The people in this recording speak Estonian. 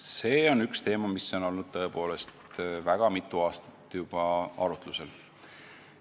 See on teema, mis on tõepoolest väga mitu aastat arutlusel olnud.